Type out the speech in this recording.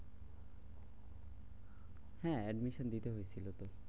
হ্যাঁ admission দিতে হয়েছিল তো।